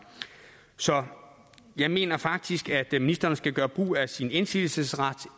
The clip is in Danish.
så jeg mener faktisk at ministeren skal gøre brug af sin indsigelsesret